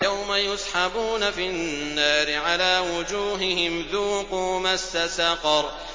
يَوْمَ يُسْحَبُونَ فِي النَّارِ عَلَىٰ وُجُوهِهِمْ ذُوقُوا مَسَّ سَقَرَ